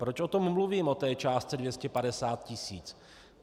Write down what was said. Proč o tom mluvím, o té částce 250 tis.?